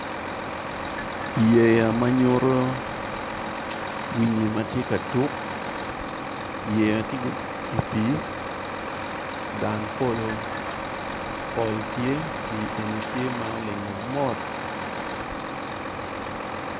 Yea manyuto winyi matye ka tuk yeya tye i pi dang polo pi tye pe en tye ma olingo mot.